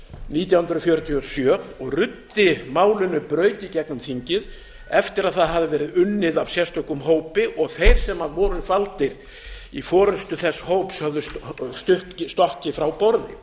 nítján hundruð fjörutíu og sjö og ruddi málinu braut í gegnum þingið eftir að það hafði verið unnið af sérstökum hópi og þeir sem voru valdir í forustu þess hóps höfðu stokkið frá borði